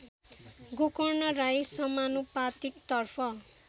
गोकर्ण राई समानुपातिकतर्फ